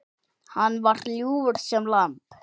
Hann var ljúfur sem lamb.